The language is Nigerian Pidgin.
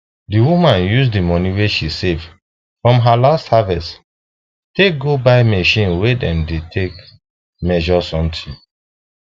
the woman use the money wey she save from her last harvest take go buy machine wey dem dey take measure something